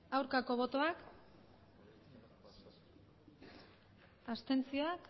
aurkako botoak abstentzioak